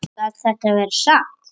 Gat þetta verið satt?